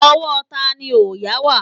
Ọwọ́ tani òòyà wà?